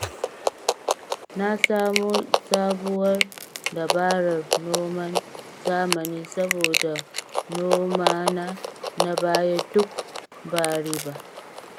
Na samo sabuwar dabarar noman zamani saboda nomana na baya duk ba riba